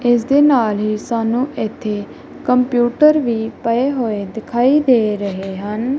ਇਸ ਦੇ ਨਾਲ ਹੀ ਸਾਨੂੰ ਇੱਥੇ ਕੰਪਿਊਟਰ ਵੀ ਪਏ ਹੋਏ ਦਿਖਾਈ ਦੇ ਰਹੇ ਹਨ।